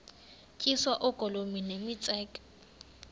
tyiswa oogolomi nemitseke